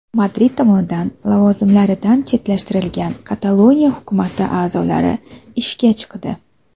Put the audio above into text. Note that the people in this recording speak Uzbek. Madrid tomonidan lavozimlaridan chetlashtirilgan Kataloniya hukumati a’zolari ishga chiqdi.